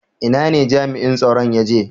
Ina ne jami'in tsaron ya je?